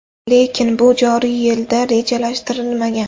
Lekin, bu joriy yilda rejalashtirilmagan.